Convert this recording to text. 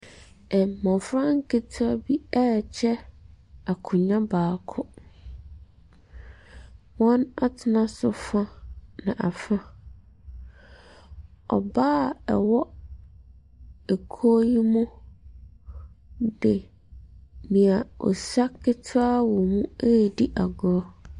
Mmɔfra nketewa bi ɛrekyɛ akonnwa baako. Wɔn atena so fa na afa. Ɔbaa ɔwɔ ekuo yi mu de nea ɔsua ketewa wɔ mu redi agorɔ.